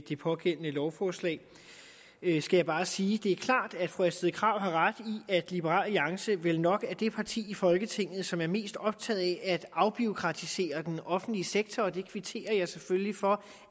det pågældende lovforslag jeg skal bare sige at det er klart at fru astrid krag har ret i at liberal alliance vel nok er det parti i folketinget som er mest optaget af at afbureaukratisere den offentlige sektor jeg kvitterer selvfølgelig for